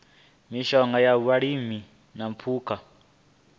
mishonga ya vhulimi na phukha